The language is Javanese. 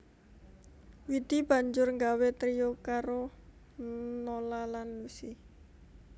Widi banjur nggawé trio karo Nola lan Lusi